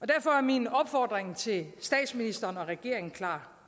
derfor er min opfordring til statsministeren og regeringen klar